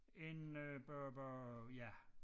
En øh bøh bøh ja